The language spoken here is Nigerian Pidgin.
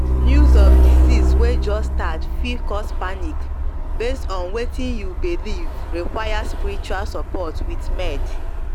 news of disease way just start fit cause panic base on wetin you believee require spiritual support with med